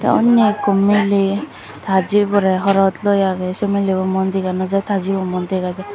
unni ekko miley ta jiborey horot loi agey sei milebo muon dega no jaai ta jibo muan dega jaai.